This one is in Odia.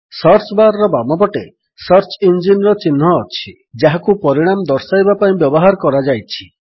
ସର୍ଚ୍ଚ ବାର୍ ର ବାମପଟେ ସର୍ଚ ଇଞ୍ଜିନ୍ ର ଚିହ୍ନ ଅଛି ଯାହାକୁ ପରିଣାମ ଦର୍ଶାଇବା ପାଇଁ ବ୍ୟବହାର କରାଯାଇଛି